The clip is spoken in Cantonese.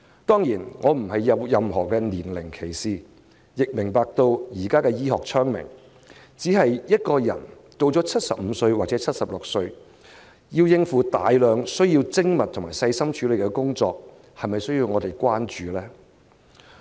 當然，我並沒有任何年齡歧視，亦明白現今醫學昌明，只是一個人年屆75或76歲，要應付大量需要精密思考和細心處理的工作，是否需要我們關注？